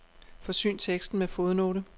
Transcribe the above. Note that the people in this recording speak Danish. Forsyn teksten med fodnote.